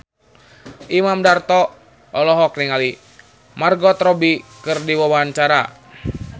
Imam Darto olohok ningali Margot Robbie keur diwawancara